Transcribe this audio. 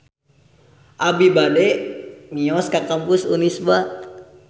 Abi bade mios ka Kampus Unisba